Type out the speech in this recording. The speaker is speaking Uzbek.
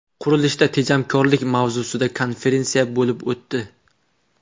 Qurilishda tejamkorlik” mavzusida konferensiya bo‘lib o‘tdi.